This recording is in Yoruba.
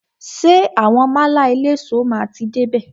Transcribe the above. Ṣé àwọn málà eléso máa ti dé bè?